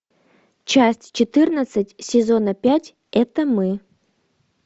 часть четырнадцать сезона пять это мы